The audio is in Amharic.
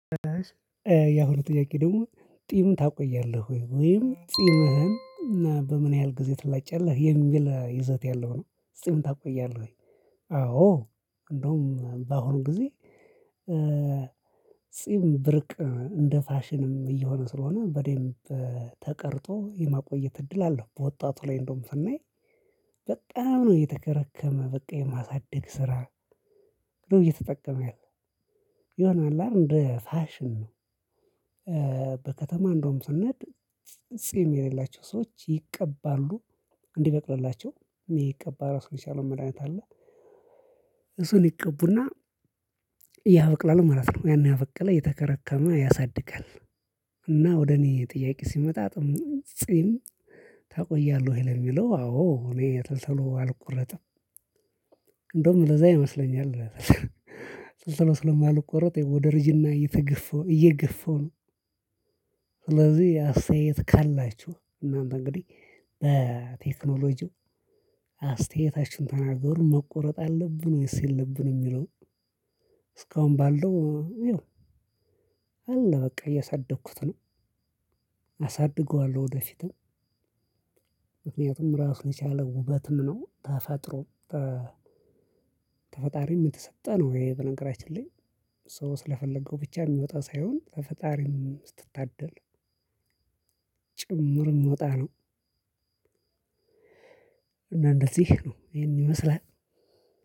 ያሁኑ ጥያቄ ደግሞ ጢም ታቆያለህ ወይም ጢምህን እና በምን ያህል ጊዜ ትላጭ የለህ የሚል ይዘት ያለው ነው ጽም ታቆያለህ? አዎ እንደውም በአሁኑ ጊዜ። ጺም ብርቅ ነው እንደ ፋሽንም እየሆነ ስለሆነ በደንብ ተቀርጦ የማቆየት እድል አለው። በወጣቱ ላይ እንደውም ስናይ በጣም ነው የተከረከመ በቃ የማሳድግ ስራ እየተጠቀመ ያለው ይሆናል እንደ ፋሽን ነው። በከተማ እንደውም ስናድ ጽም የሌላቸው ሰዎች ይቀባሉ እንዲበቅልላቸው የሚቀባ ራሱ የቻለው መድሃኒት አለ። እሱን ይቀቡና ያበቅላል ማለት ነው። ያን ያበቀለ የተከረከመ ያሳድጋል። እና ወደ እኔ ጥያቄ ሲመጣ ጽም ታቆያለህ ወይ? የሚለው አዎ እኔ ተልተሎ አልቆረጠም። ለዛ ይመስለኛል። ቶሎቶሎ ስለማልቆረጥ ወደ እርጅና እየተገፈው እየገፈው ነው። ስለዚህ አስተያየት ካላችሁ እናንተ እንግዲህ በቴክኖሎጂው አስተያየታችን ተናገሩ። መቆረጥ አለብን ወይስ የለብንም የሚለው? እስካሁን ባለው ይኸው። አለ በቃ እያሳደግኩት ነው። አሳድገዋለሁ ወደፊትም ምክንያቱም ራሱ የቻለ ውበትም ነው። ተፈጥሮ ተፈጣሪም የተሰጠ ነው። ወይ በነገራችን ላይ ሶ ስለፈለገው ብቻ የሚወጣ ሳይሆን ተፈጣሪም ስትታደል ጭምር የምወጣ ነው። እና እንደዚህ ነው ይሄን ይመስላል።